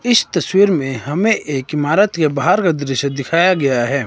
इस तस्वीर में हमें एक इमारत के बाहर का दृश्य दिखाया गया है।